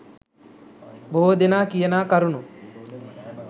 බොහෝ දෙනා කියනා කරුණු